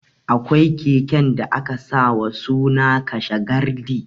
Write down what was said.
Akwai keken da aka sa wa suna ''kashe gardi'